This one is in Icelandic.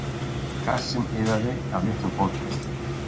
Kassinn iðaði af litlum hvolpum.